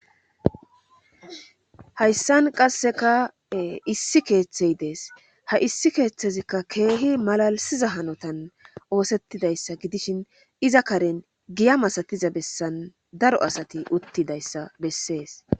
Hayssan qasseka issi keeththey dees ha issi keeththezikka keehi malalisiza hanotan oosettidayssa gidishin iza karen giya masatiza bessan daro asati uttidayssa bessees.